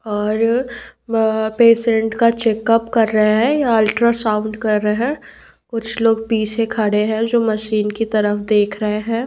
और वहाँ पे सेंट का चेक उप कर रहे है अल्ट्रा साउन्ड कर रहे है कुछ लोग पीछे खड़े है जो मशीन की तरफ देख रहे है।